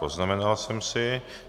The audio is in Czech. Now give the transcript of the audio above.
Poznamenal jsem si.